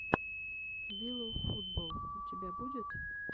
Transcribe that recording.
виловфутболл у тебя будет